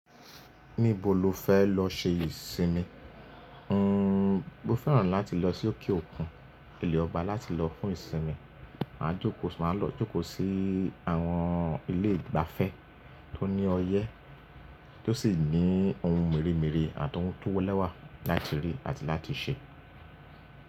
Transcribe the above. Níbo lo fẹ́ lọ ṣe ìsinmi? N o fẹ́ràn láti lọ sí òkè òkun, ilẹ̀ ọba láti lọ fún ìsinmi. Màá jókòó, màá lọ jókòó sí àwọn ilé ìgbafẹ́ tó ní ọyẹ́, tó sì ní ohun mèremère àti ohun tó wọ́lẹ̀wà láti rí àti láti ṣe.